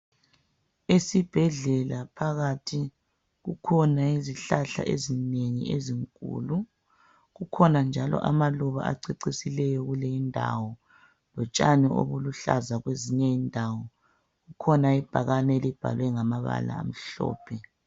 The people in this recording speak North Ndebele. Esibhedlela phakathi kukhona izihlahla ezinengi ezinkulu. Kukhona njalo amaluba acecisileyo kuleyi indawo lotshani obuluhlaza kwezinye indawo. Kukhona ibhakane elibhalwe ngamabala amhlophe.